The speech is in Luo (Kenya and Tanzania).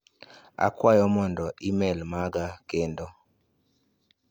Akwayo mondo imel maga kendo.